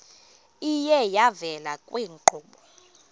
iye yavela kwiinkqubo